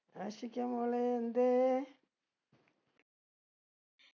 ആഷിക മോളേ എന്തേ